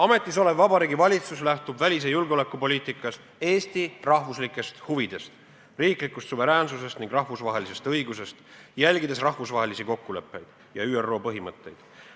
Ametis olev Vabariigi Valitsus lähtub välis- ja julgeolekupoliitikas Eesti rahvuslikest huvidest, riiklikust suveräänsusest ning rahvusvahelisest õigusest, järgides rahvusvahelisi kokkuleppeid ja ÜRO põhimõtteid.